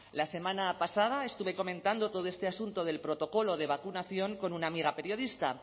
la semana pasada estuve comentando todo este asunto del protocolo de vacunación con una amiga periodista